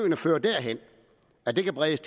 ikke fører derhen at de kan bredes